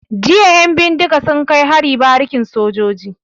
Jiya 'yan bindiga sun kai hari barikin sojoji.